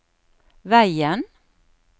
veien